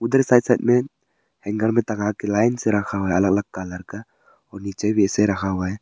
इधर side side में hanger में टंगा के लाइन से रखा अलग अलग कलर का और नीचे भी ऐसे रखा हुआ है।